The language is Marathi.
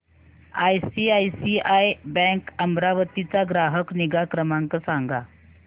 आयसीआयसीआय बँक अमरावती चा ग्राहक निगा क्रमांक सांगा